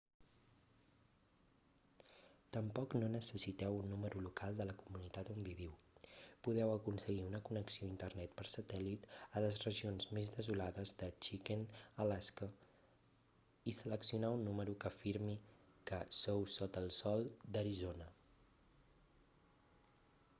tampoc no necessiteu un número local de la comunitat on viviu podeu aconseguir una connexió a internet per satèl·lit a les regions més desolades de chicken alaska i seleccionar un número que afirmi que sou sota el sol d'arizona